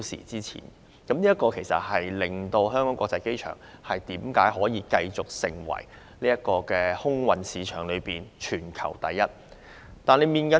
這就是香港國際機場能繼續在空運市場中位列全球第一名的原因。